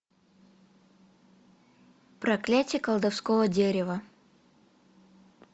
проклятие колдовского дерева